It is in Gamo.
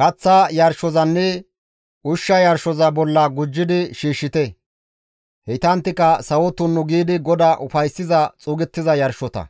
kaththa yarshozanne ushsha yarshoza bolla gujjidi shiishshite; heytanttika sawo tunnu giidi GODAA ufayssiza xuugettiza yarshota.